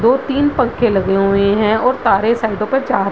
दो-तीन पंखे लगे हुए है और तारे साइडो पे जा रही --